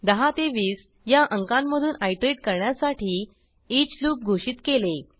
10 ते 20 या अंकांमधून आयटरेट करण्यासाठी ईच लूप घोषित केले